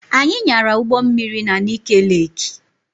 Anyị nyara ụgbọ mmiri na Nike Leeki